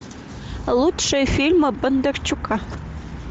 лучшие фильмы бондарчука